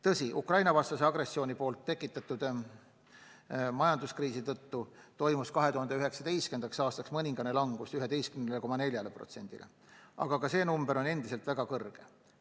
Tõsi, Ukraina-vastase agressiooni tekitatud majanduskriisi tõttu toimus 2019. aastaks mõningane langus , aga seegi näitaja on endiselt väga kõrge.